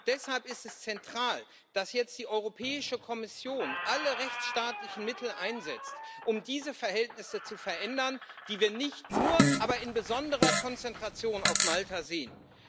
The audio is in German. Deshalb ist es zentral, dass jetzt die Europäische Kommission alle rechtsstaatlichen Mittel einsetzt, um diese Verhältnisse zu verändern, die wir nicht nur aber in besonderer Konzentration auf Malta sehen.